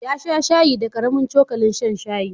Ya sha shayi da ƙaramin cokalin shan shayi.